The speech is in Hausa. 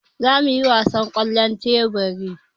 Za mu yi wasan ƙwallon teburi.